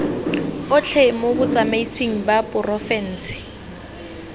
otlhe mo botsamaisng ba porofense